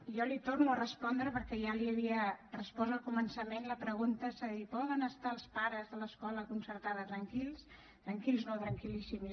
jo li torno a respondre perquè ja li havia respost al començament la pregunta és a dir poden estar els pares de l’escola concertada tranquils tranquils no tranquil·líssims